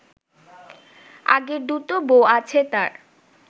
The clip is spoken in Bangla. আগের দুটো বউ আছে তার